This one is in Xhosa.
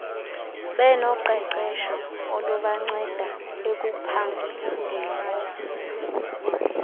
benoqeqesho olubanceda ekuphandeni